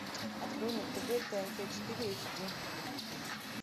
открой на тв тнт четыре эйч ди